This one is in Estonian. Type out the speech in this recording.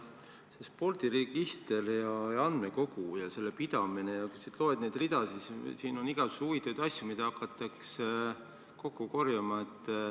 See spordiregister ja andmekogu ja selle pidamine – kui sa loed neid ridasid, siis näed, et siin on igasugu huvitavaid asju, mida hakatakse kokku korjama.